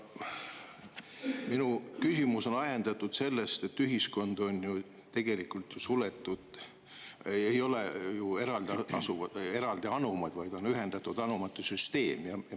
Minu küsimus on ajendatud sellest, et ühiskond on ju tegelikult suletud, ei ole eraldi anumaid, vaid on ühendatud anumate süsteem.